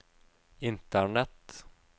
internett